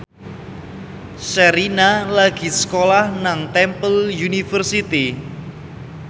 Sherina lagi sekolah nang Temple University